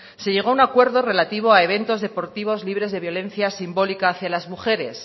se llegó a un acuerdo relativo a eventos deportivos libres de violencias simbólicas de las mujeres